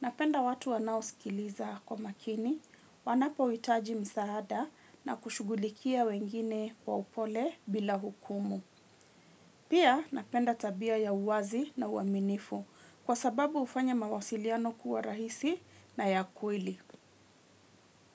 Napenda watu wanaosikiliza kwa makini, wanapohitaji msaada na kushughulikia wengine kwa upole bila hukumu. Pia napenda tabia ya uwazi na uaminifu kwa sababu hufanya mawasiliano kuwa rahisi na ya kweli.